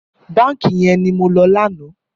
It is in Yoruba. Bànkí yèn ni mó lò lànã